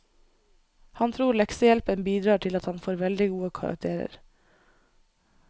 Han tror leksehjelpen bidrar til at han får veldig gode karakterer.